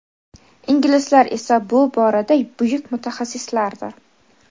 inglizlar esa bu borada buyuk mutaxassislardir.